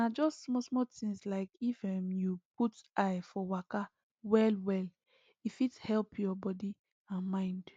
na just smallsmall things like if um you put eye for waka well well e fit help your body and mind